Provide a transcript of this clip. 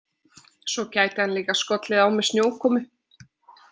Svo gæti hann líka skollið á með snjókomu.